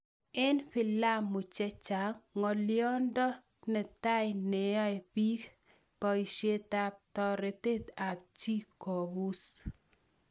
"Eng' filamu chechang', ng'oliondo netai neae bik ( paishet ap taretet ap chi kobuus.